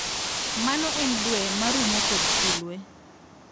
Mano en Due marumo kod Sulwe.